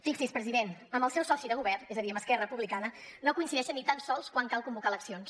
fixi’s president amb el seu soci de govern és a dir amb esquerra republicana no coincideixen ni tan sols quan cal convocar eleccions